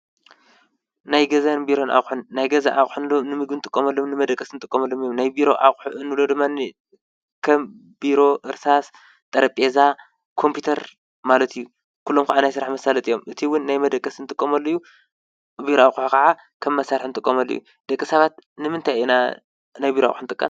ናይ ገዛን ቢሮን ኣቑሑ- ናይ ገዛ ኣቑሑ እንብሎም ንምግቢ ንጥቀመሎም ንመደቀሲ ንጥቀመሎም እዮም፡፡ ናይ ቢሮ ኣቑሑ ንብሎ ድማ ከም ቢሮ፣ እርሳስ፡ ጠረጴዛ፣ ኮምፒዩተር ማለት እዩ፡፡ ኩሎም ከዓ ናይ ስራሕ መሳለጢ እዮም፡፡ እቲ እውን ናይ መደቀሲ ንጥቀመሉ እዩ፡፡ እቲ ቢሮ ኣቑሑ ከዓ ከም መሳርሒ ንጥቀመሉ እዩ ፡፡ ደቂ ሰባት ንምንታይ ኢና ናይ ቢሮ ኣቑሑ ንጥቀም?